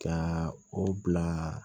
Ka o bila